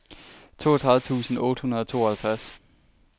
toogtredive tusind otte hundrede og tooghalvtreds